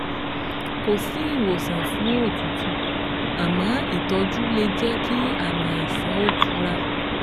Kò sí ìwòsàn fún òtútù, àmọ́ ìtọ́jú lè jẹ́ kí àmì àìsàn ó tura